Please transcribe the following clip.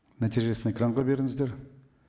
нәтижесін экранға беріңіздер